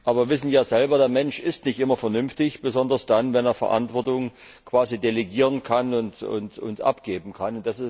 Aber wir wissen ja selbst Der Mensch ist nicht immer vernünftig, besonders dann, wenn er Verantwortung quasi delegieren und abgeben kann.